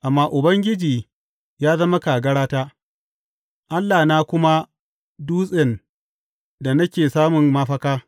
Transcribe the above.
Amma Ubangiji ya zama kagarata, Allahna kuma dutsen da nake samun mafaka.